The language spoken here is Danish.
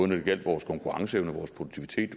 det gjaldt vores konkurrenceevne og vores produktivitet